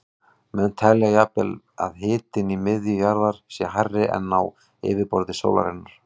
Menn telja jafnvel að hitinn í miðju jarðar sé hærri en á yfirborði sólarinnar.